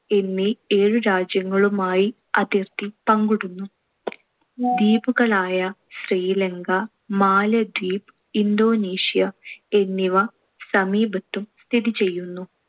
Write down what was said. എന്നീ ഏഴു രാജ്യങ്ങളുമായി അതിർത്തി പങ്കിടുന്നു. ദ്വീപുകളായ ശ്രീലങ്ക, മാലദ്വീപ്, ഇന്തോനേഷ്യ എന്നിവ സമീപത്തും സ്ഥിതിചെയ്യുന്നു.